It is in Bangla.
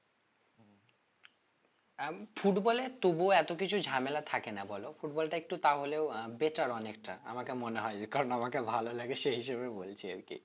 football এ তবুও এত কিছু ঝামেলা থাকে না বলো football টা একটু তাহলেও আহ better অনেকটা আমাকে মনে হয় যে কারণ আমাকে ভালো লাগে সে হিসেবে বলছি আরকি